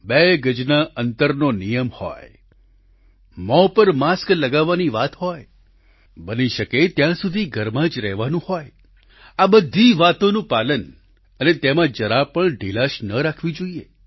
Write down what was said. બે ગજના અંતરનો નિયમ હોય મોં પર માસ્ક લગાવવાની વાત હતી બની શકે ત્યાં સુધી ઘરમાં જ રહેવાનું હોય આ બધી વાતોનું પાલન અને તેમાં જરા પણ ઢીલાશ ન રાખવી જોઈએ